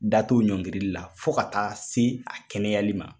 Da t'o ɲɔngiri la fo ka taa se a kɛnɛyali ma.